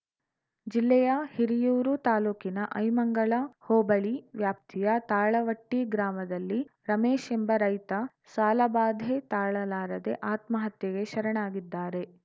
ಜಿಲ್ಲೆಯ ಹಿರಿಯೂರು ತಾಲೂಕಿನ ಐಮಂಗಲ ಹೋಬಳಿ ವ್ಯಾಪ್ತಿಯ ತಾಳವಟ್ಟಿಗ್ರಾಮದಲ್ಲಿ ರಮೇಶ್‌ ಎಂಬ ರೈತ ಸಾಲಬಾಧೆ ತಾಳಲಾರದೆ ಆತ್ಮಹತ್ಯೆಗೆ ಶರಣಾಗಿದ್ದಾರೆ